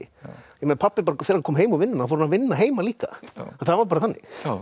þegar pabbi kom heim úr vinnunni fór hann að vinna heima líka það var bara þannig